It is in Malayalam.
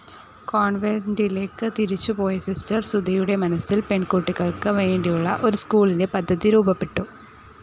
കോൺവെൻ്റിലേക്ക് തിരിച്ച് പോയ സിസ്റ്റർ സുധയുടെ മനസ്സിൽ പെൺകുട്ടികൾക്ക് വേണ്ടിയുളള ഒരു സ്ക്കൂളിൻ്റെ പദ്ധതി രൂപപ്പെട്ടു.